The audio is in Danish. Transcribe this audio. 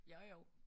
Jo jo